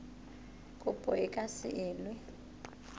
kopo e ka se elwe